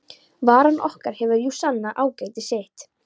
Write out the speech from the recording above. Varan okkar hefur jú sannað ágæti sitt.